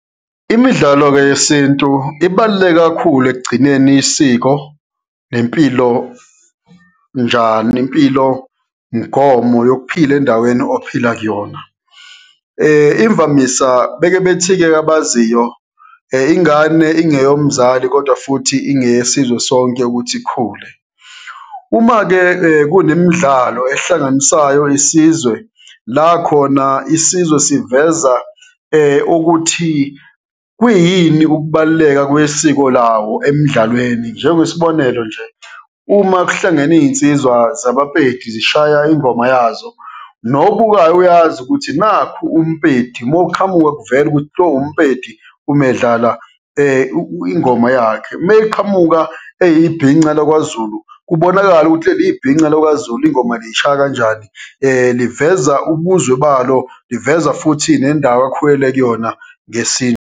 Imidlalo-ke yesintu ibaluleke kakhulu ekugcineni isiko nempilo njani, nempilomngomo yokuphila endaweni ophila kuyona. Imvamisa, beke bethi-ke abaziyo, ingane ingeyo mzali, kodwa futhi ingeye sizwe sonke ukuthi ikhule. Uma-ke kunemidlalo ehlanganisayo isizwe la khona isizwe siveza ukuthi kuyini ukubaluleka kwesiko lawo emdlalweni. Njengesibonelo nje, uma kuhlangene iyinsizwa zabaPedi zishaya ingoma yazo, nobukayo uyazi ukuthi nakhu umPedi, uma uqhamuka kuvele ukuthi lo umPedi uma edlala ingoma yakhe. Uma eqhamuka eyibhinca lakwaZulu, kubonakale ukuthi leli ibhinca lakwaZulu, ingoma lishaya kanjani, liveza ubuzwe balo, liveza futhi nendawo akhulele kuyona .